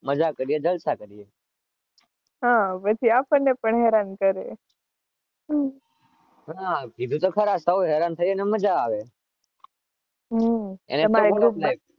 હા પછી આપણને પણ હેરાન કરે